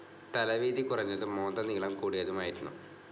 തല വീതി കുറഞ്ഞതും മോന്ത നീളം കൂടിയതുമായിരുന്നു.